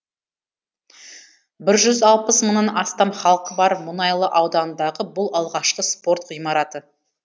бір жүз алпыс мыңнан астам халқы бар мұнайлы ауданындағы бұл алғашқы спорт ғимараты